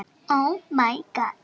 Eða er það ekki hún?